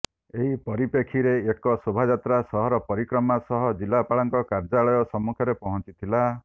ଏହି ପରିପ୍ରେକ୍ଷୀରେ ଏକ ଶୋଭାଯାତ୍ରା ସହର ପରିକ୍ରମା ସହ ଜିଲାପାଳଙ୍କ କାର୍ଯ୍ୟାଳୟ ସମ୍ମୁଖରେ ପହଞ୍ଚିଥିଲା